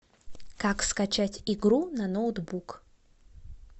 как скачать игру на ноутбук